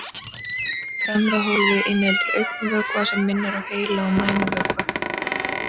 Fremra hólfið inniheldur augnvökva sem minnir á heila- og mænuvökva.